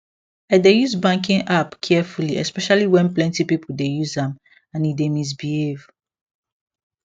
i dey use banking app carefully especially when plenty people dey use am and e dey misbehave